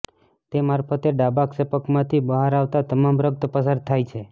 તે મારફતે ડાબા ક્ષેપકમાંથી બહાર આવતા તમામ રક્ત પસાર થાય છે